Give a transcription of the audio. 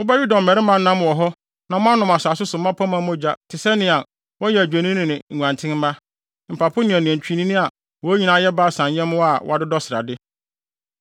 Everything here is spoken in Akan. Mobɛwe dɔmmarima nam wɔ hɔ na moanom asase so mmapɔmma mogya te sɛ nea wɔyɛ adwennini ne nguantenmma, mpapo ne anantwinini a wɔn nyinaa yɛ Basan nyɛmmoa a wɔadodɔ srade.